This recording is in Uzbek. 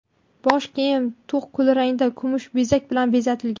Bosh kiyim to‘q kulrangda kumush bezak bilan bezatilgan.